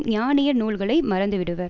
ஞானியர் நூல்களை மறந்துவிடுவர்